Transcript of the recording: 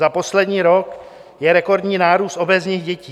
Za poslední rok je rekordní nárůst obézních dětí.